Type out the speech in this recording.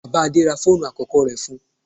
Bàbá Adé ra fóònù àkọ́kọ́ rẹ̀ fún-un.